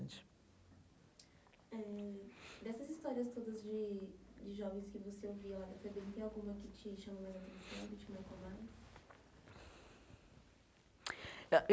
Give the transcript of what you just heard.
Eh dessas histórias todas de de jovens que você ouviu lá na FEBEM, tem alguma que te chamou mais a atenção, que te marcou mais? ãh